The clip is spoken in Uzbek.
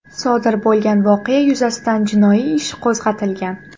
Sodir bo‘lgan voqeya yuzasidan jinoiy ish qo‘zg‘atilgan.